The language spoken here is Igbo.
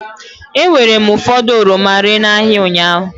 E weere m ụfọdụ oroma ree n'ahịa ụnyaahụ.